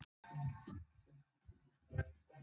Er það illa séð að skipta bara um lið?